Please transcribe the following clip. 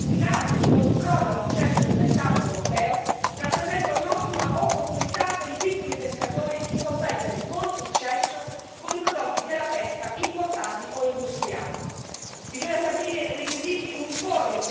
Per paesi come l'Italia, quindi, la creazione di misure mirate di controllo all'accesso del mercato europeo rappresenta un'ottima opportunità per i piccoli pescatori di competere con successo con i prodotti della pesca importati o industriali.